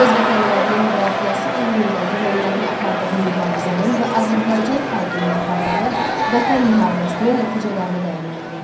Öz vətənlərinin müdafiəsi uğrunda Yunanlıların apardığı mübarizənin və Azərbaycan xalqının apardığı Vətən müharibəsinin nəticələrini dəyərləndirin.